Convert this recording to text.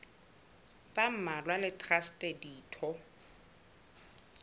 ba mmalwa le traste ditho